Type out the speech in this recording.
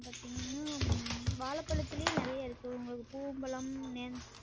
பாத்தீங்கனா உம் வாழப்பழத்துலையே நெறைய இருக்கு உங்களுக்கு பூவம்பழம்